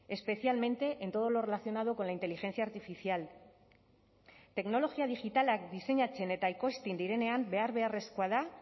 especialmente en todo lo relacionado con la inteligencia artificial teknologia digitalak diseinatzen eta ekoizten direnean behar beharrezkoa da